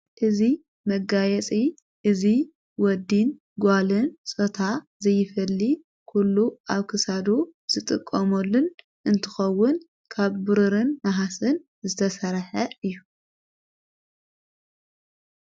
እቲእዙይ መጋየጺ እዙይ ወዲን ጓልን ሶታ ዘይፈሊ ኲሉ ኣውክሳዱ ዝጥቆ ሞልን እንትኸውን ካብ ብሩርን መሃስን ዝተሠርሐ እዩ።